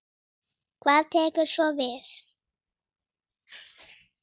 Hvað tekur svo við?